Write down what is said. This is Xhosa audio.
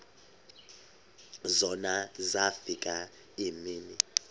zona zafika iimini